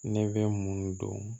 Ne bɛ mun dɔn